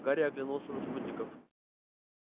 гарри оглянулся на спутников